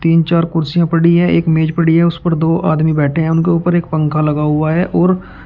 तीन चार कुर्सियां पड़ी है एक मेज पड़ी है उस पर दो आदमी बैठे हैं उनके ऊपर एक पंखा लगा हुआ है। और--